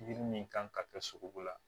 Yiri min kan ka kɛ sogo la